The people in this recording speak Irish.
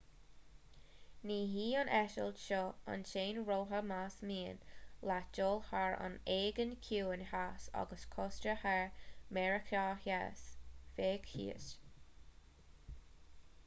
ní hí an eitilt seo an t-aon rogha más mian leat dul thar an aigéan ciúin theas agus cósta thiar mheiriceá theas féach thíos